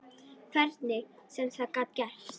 Hvernig sem það gat gerst.